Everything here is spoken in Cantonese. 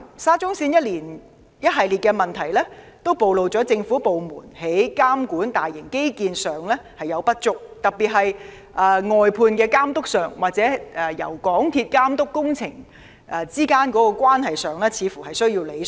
沙中線項目的一連串問題均暴露政府部門對大型基建項目的監管不足，特別是對承辦商的監管，而港鐵公司與承辦商之間對於監管工程的角色似乎也需要理順。